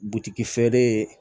Butigi ye